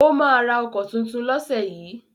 Ó máa ra ọkọ̀ tuntun lọ́sẹ̀ yìí?